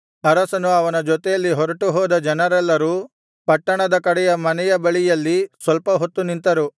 ಅರಸನು ಅವನ ಜೊತೆಯಲ್ಲಿ ಹೊರಟು ಹೋದ ಜನರೆಲ್ಲರೂ ಪಟ್ಟಣದ ಕಡೆಯ ಮನೆಯ ಬಳಿಯಲ್ಲಿ ಸ್ವಲ್ಪ ಹೊತ್ತು ನಿಂತರು